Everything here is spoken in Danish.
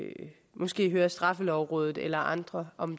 måske høre straffelovrådet eller andre om